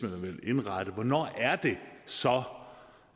vil indrette og hvornår det så